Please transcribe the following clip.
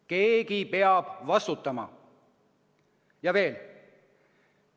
Keegi peab vastutama!